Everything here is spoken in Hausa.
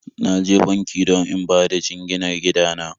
Na je banki don in bada jinginar gida na